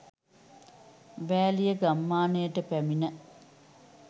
වෑලිය ගම්මානයට පැමිණ